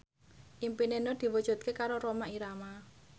impine Nur diwujudke karo Rhoma Irama